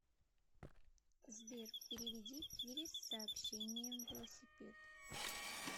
сбер переведи кире с сообщением велосипед